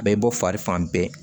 A bɛ bɔ fari fan bɛɛ